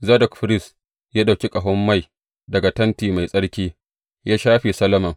Zadok firist ya ɗauki ƙahon mai daga tenti mai tsarki, ya shafe Solomon.